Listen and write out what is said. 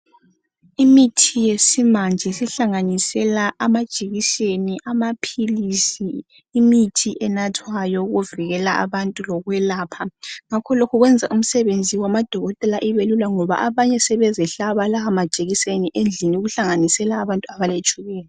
Imithi yesimanje sihlanganisela amajekiseni amaphilisi imithi enathwayo yokuvikela lokwelapha .Ngakho lokhu kwenza umsebenzi wamakotela ubelula ngoba abanye sebezihlaba lawo majekiseni besendlini okuhlanganisela abantu abale tshukela .